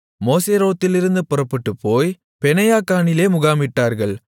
மோசெரோத்திலிருந்து புறப்பட்டுப்போய் பெனெயாக்கானிலே முகாமிட்டார்கள்